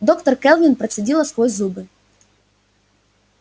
доктор кэлвин процедила сквозь зубы